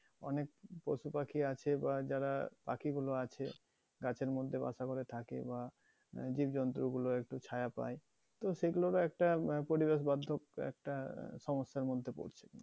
অনেক পশু পাখি আছে বা যারা পাখিগুলো আছে গাছের মধ্যে বাসা করে থাকে বা আহ জীবজন্তু গুলো একটু ছায়া পায়, তো সেগুলো ও একটা পরিবেশ বর্ধকও একটা আহ সমস্যার মধ্যে পড়ছে